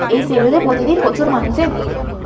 এই সেলুন -এ প্রতিদিন প্রচুর মানুষের ভিড় হয় ।